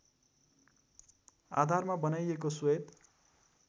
आधारमा बनाइएको श्वेत